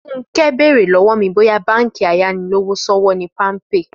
Fúnkẹ́ bèrè lọ́wọ́ mi bóyá báǹkì ayánilówóṣòwò ni Palmpay